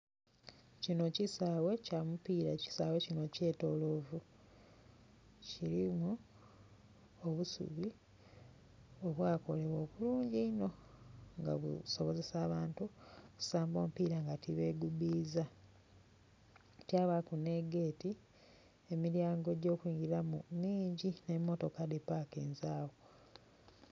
Kino kisaaghe kya mupiira ekisaaghe kino kytoloovu, kirimu obusubi obwakolebwa obulungi eino nga busobozesa abantu okusamba omupiira nga tibegubiiza kyabaaku negeeti, emilyango gyokuingiramu mingi emotoka dhipakinze agho.